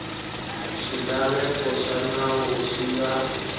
swilaveko swa nawu swi nga